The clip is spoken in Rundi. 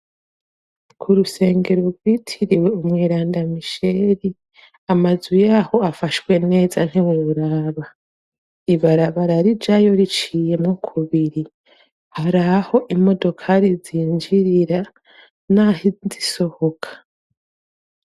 ku rusengero rwitiriwe umweranda misheri amazu yaho afashwe neza nk'ibururaba ibarabararijayo riciyemo kubiri haraho imodokari zinjirira n'aho zisohoka